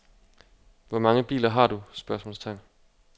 Hvor mange biler har du? spørgsmålstegn